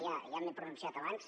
m’he pronunciat abans